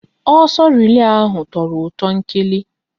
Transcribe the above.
Ọsọ relay ahụ tọrọ ụtọ nkeli